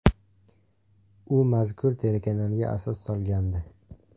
U mazkur telekanalga asos solgandi.